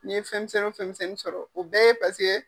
Ni n ye fɛn misɛnnin wo fɛn misɛnnin sɔrɔ o bɛɛ ye paseke.